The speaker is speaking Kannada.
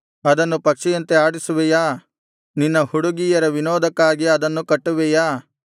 ಅದನ್ನು ಪಕ್ಷಿಯಂತೆ ಆಡಿಸುವೆಯಾ ನಿನ್ನ ಹುಡುಗಿಯರ ವಿನೋದಕ್ಕಾಗಿ ಅದನ್ನು ಕಟ್ಟುವೆಯಾ